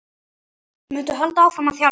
Muntu halda áfram að þjálfa?